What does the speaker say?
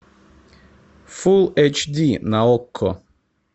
фулл эйч ди на окко